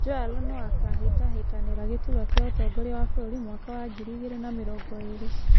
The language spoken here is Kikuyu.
Joel no akahĩtahĩtanira gĩturwa kĩa ũtongoria wa bũrũri mwaka wa ngiri igĩrĩ na mĩrongo iri?